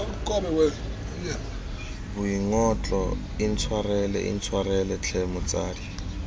boingotlo intshwarele intshwarele tlhe motsadi